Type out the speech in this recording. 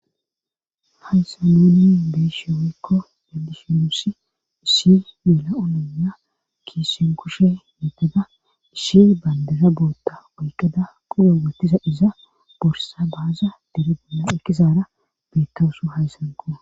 hansa moonin beeshe woykko yaddishimusi isshi mela7ononya kiisen kushe meddeda isshi bayndeza bootta woyqada qugo wettiza iza borsa baaza dere bolla ekkizaara beetkawsu hazsanko